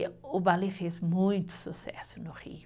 E o balé fez muito sucesso no Rio.